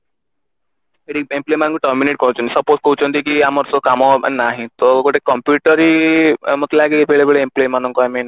ମାନଙ୍କୁ terminate କରିଦଉଛନ୍ତି suppose କହୁଛନ୍ତି କି ଆମର କାମ ନାହିଁ ତ ଗୋଟେ computer ହିଁ ମତେ ଲାଗେ ଆମେ employ ମାନଙ୍କୁ ବେଳେବେଳେ